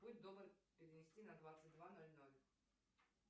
будь добр перенести на двадцать два ноль ноль